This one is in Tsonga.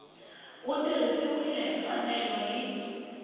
wu tirhisiwile hi mfanelo hi